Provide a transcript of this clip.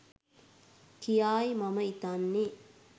කියායි මම හිතන්නේ